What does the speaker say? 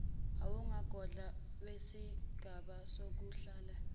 uwumgogodla wesigaba sokuhlela